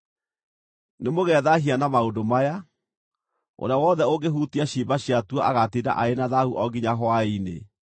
“ ‘Nĩmũgethaahia na maũndũ maya; ũrĩa wothe ũngĩhutia ciimba ciatuo agaatinda arĩ na thaahu o nginya hwaĩ-inĩ.